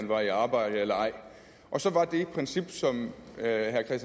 var i arbejde eller ej og så var det princip som herre